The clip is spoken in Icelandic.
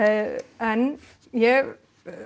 en ég